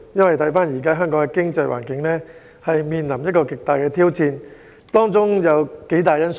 香港經濟環境正面臨巨大挑戰，當中有幾項因素。